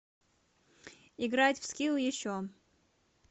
играть в скилл еще